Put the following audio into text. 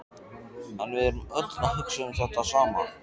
En við erum öll að hugsa um þetta sama.